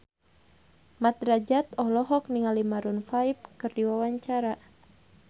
Mat Drajat olohok ningali Maroon 5 keur diwawancara